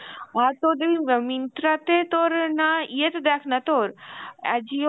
আর তোর দেখবি Myntra তে তোর না ইয়েতে দেখ না তোর Ajio